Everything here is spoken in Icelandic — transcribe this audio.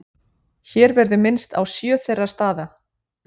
hér verður minnst á sjö þeirra staða